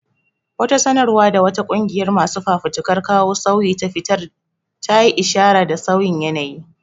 Wata sanarwa da wata ƙungiyar masu fafutukar kawo sauyi ta fitar ta yi ishara da sauyin yanayi.